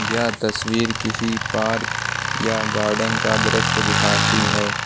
यह तस्वीर किसी पार्क या गार्डेन का दृश्य दिखाती है।